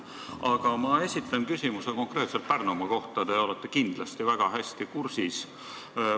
Aga ma esitan küsimuse konkreetselt Pärnumaa kohta, millega te olete kindlasti väga hästi kursis.